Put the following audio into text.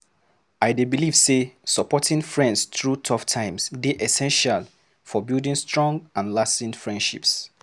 I dey believe say supporting friends through tough times dey essential for building strong and lasting friendships.